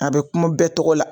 A bɛ kuma bɛɛ tɔgɔ la